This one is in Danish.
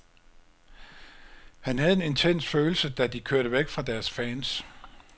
Han havde en intens følelse, da de kørte væk fra deres fans.